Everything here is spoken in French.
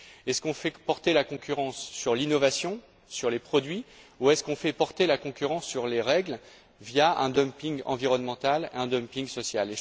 Est ce qu'on fait porter la concurrence sur l'innovation, sur les produits ou est ce qu'on fait porter la concurrence sur les règles, via un dumping environnemental, un dumping social?